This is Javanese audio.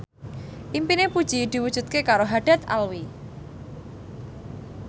impine Puji diwujudke karo Haddad Alwi